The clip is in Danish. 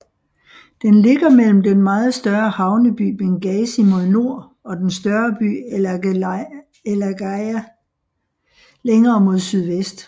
Den ligger mellem den meget større havneby Benghazi mod nord og den større by El Agheila længere mod sydvest